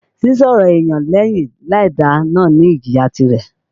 Sísọ̀rọ̀ èyàn lẹ́yìn láìda náà ní ìjìyà tirẹ̀.